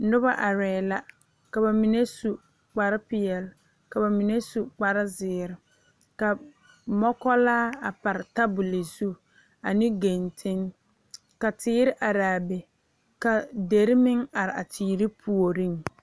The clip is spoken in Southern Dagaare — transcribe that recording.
Noba arɛɛ la ka ba mine su kpar peɛle la ba mine su kpar zeere ka mɔkulaa a pare tabol zu ane genteŋ ka teere araa be la dire meŋ are a teere puoriŋ